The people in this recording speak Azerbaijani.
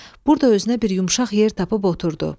Burda özünə bir yumşaq yer tapıb oturdu.